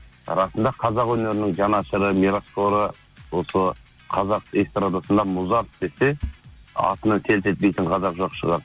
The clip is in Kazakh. расында қазақ өнерінің жанашыры мирасқоры осы қазақ эстардасында музарт десе атына селк етпейтін қазақ жоқ шығар